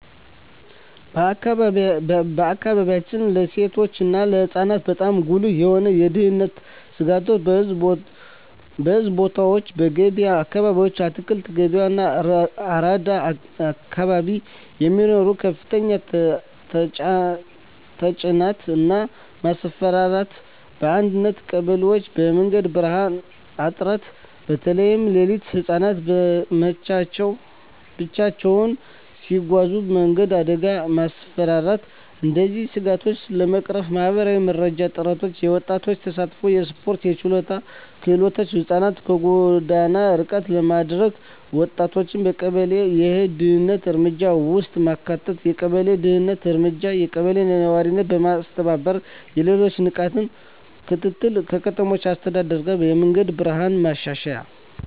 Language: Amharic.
በአካባቢያችን ለሴቶች እና ለህፃናት በጣም ጉልህ የሆኑ የደህንነት ስጋቶች :- በሕዝብ ቦታዎች *በገበያ አካባቢዎች (አትክልት ገበያ፣ አራዳ አካባቢ) የሚኖር ከፍተኛ ተጭነት እና ማስፈራራት *በአንዳንድ ቀበሌዎች የመንገድ ብርሃን እጥረት (በተለይ ሌሊት) *ህፃናት ብቻቸውን ሲጓዙ የመንገድ አደጋ እና ማስፈራራት እነዚህን ስጋቶች ለመቅረፍ ማህበረሰብ መራሽ ጥረቶች :- የወጣቶች ተሳትፎ *የስፖርትና የችሎታ ክለቦች (ህፃናትን ከጎዳና ርቀት ለማድረግ) *ወጣቶችን በቀበሌ የደህንነት እርምጃ ውስጥ ማካተት የቀበሌ ደህንነት እርምጃ *የቀበሌ ነዋሪዎች በመተባበር የሌሊት ንቃት ክትትል *ከከተማ አስተዳደር ጋር የመንገድ ብርሃን ማሻሻያ